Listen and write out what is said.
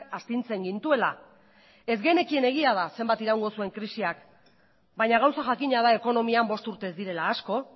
astintzen gintuela ez genekien egia da zenbat iraungo zuen krisiak baina gauza jakina da ekonomian bost urte ez direla asko